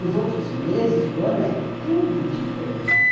Nos outros meses do ano é tudo diferente.